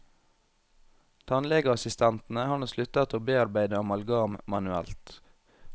Tannlegeassistentene har nå sluttet å bearbeide amalgam manuelt.